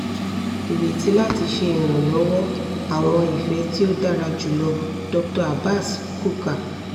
ireti lati ṣe iranlọwọ! awọn ifẹ ti o dara julọ dr abaz quka